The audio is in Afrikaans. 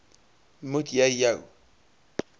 moet jy jou